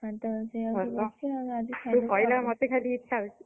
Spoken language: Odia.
ଏମିତି ରୋଷେଇ ହଉଛି ଆଉ ତୁ କହିଲାରୁ ମୋତେ ଖାଲି ଇଚ୍ଛା ହଉଛି।